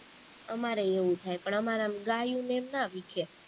અમારેય એવું થાય પણ અમારે એમ ગાયું ને એમ ના વિખે